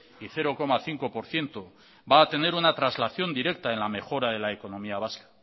y cero coma cinco por ciento va a tener una traslación directa en la mejora de la economía vasca